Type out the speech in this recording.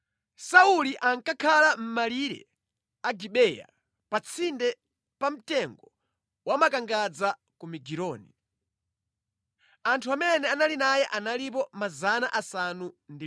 Sauli ankakhala mʼmalire a Gibeya pa tsinde pa mtengo wamakangadza ku Migironi. Anthu amene anali naye analipo 600.